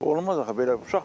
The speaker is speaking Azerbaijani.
Olmaz axı belə.